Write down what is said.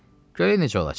Görək necə olacaq.